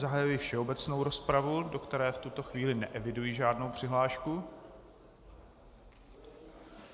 Zahajuji všeobecnou rozpravu, do které v tuto chvíli neeviduji žádnou přihlášku.